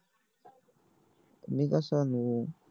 मी कस आणू